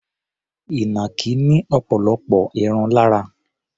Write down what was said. Ìnàkí ní ọ̀pọ̀lọpọ̀ irun lára.